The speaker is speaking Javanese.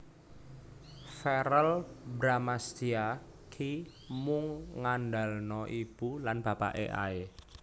Verrel Bramastya ki mung ngandalno ibu lan bapake ae